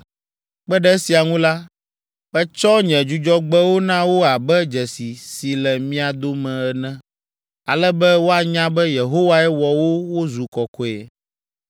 Kpe ɖe esia ŋu la, metsɔ nye Dzudzɔgbewo na wo abe dzesi si le mía dome ene, ale be woanya be, Yehowae wɔ wo wozu kɔkɔe.